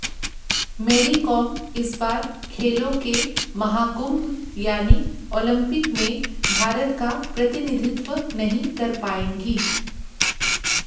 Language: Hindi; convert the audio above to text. मैरीकॉम इस बार खेलों के महाकुंभ यानी ओलंपिक में भारत का प्रतिनिधित्व नहीं कर पाएंगी